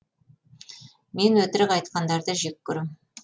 мен өтірік айтқандарды жек көрем